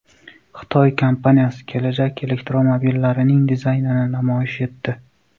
Xitoy kompaniyasi kelajak elektromobillarining dizaynini namoyish etdi.